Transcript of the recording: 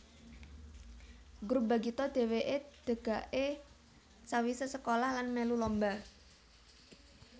Grup Bagito dheweke degake sawisé sekolah lan mèlu lomba